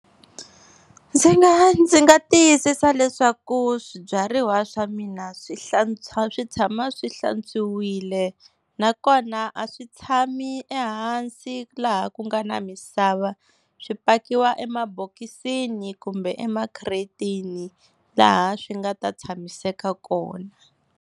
Ndzi nga ndzi nga tiyisisa leswaku swibyariwa swa mina swi swi tshama swi hlantswiwile, nakona a swi tshami ehansi laha ku nga na misava swi pakiwaka emabokisini kumbe emakhiretini laha swi nga ta tshamiseka kona.